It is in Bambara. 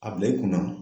A bila i kun na